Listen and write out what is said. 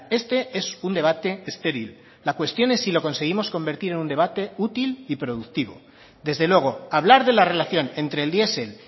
este es un debate estéril la cuestión es si lo conseguimos convertir en un debate útil y productivo desde luego hablar de la relación entre el diesel